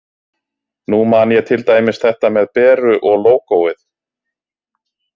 Nú man ég til dæmis þetta með Beru og lógóið.